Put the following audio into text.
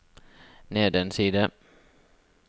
ned en side